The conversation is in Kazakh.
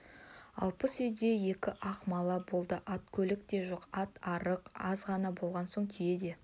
алпыс үйде екі-ақ мала болды ат-көлік те жоқ ат арық аз ғана болған соң түйе де